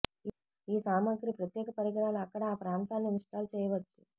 ఈ సామగ్రి ప్రత్యేక పరికరాలు అక్కడ ఆ ప్రాంతాల్లో ఇన్స్టాల్ చేయవచ్చు